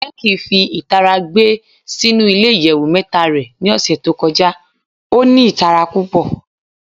Becky fi itara gbe sinu ile iyẹwu mẹta rẹ ni ọsẹ to kọja o ni itara pupọ